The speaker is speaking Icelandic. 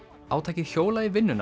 átakið hjólað í vinnuna